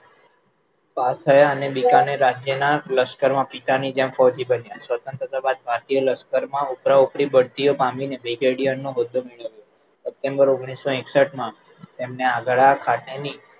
pass થયા અને બિકાનેર રાજ્યના લશ્કર માં પિતાની જેમ ફૌજી બન્યા સ્વતંત્રા બાદ ભારતીય લશકરમાં ઉપરા ઉપરી બઢતી પામી ને હોદ્દો મેળવ્યો